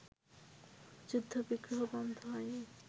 যুদ্ধ-বিগ্রহ বন্ধ হয়নি